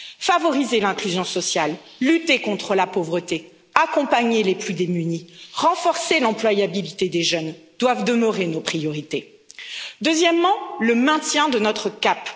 Favoriser l'inclusion sociale, lutter contre la pauvreté, accompagner les plus démunis, renforcer l'employabilité des jeunes doivent demeurer nos priorités. Deuxièmement, le maintien de notre cap.